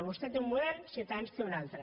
vostè té un model ciutadans en té un altre